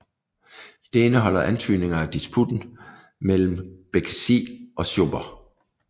Det indeholder antydninger af disputen mellem Békessy og Schober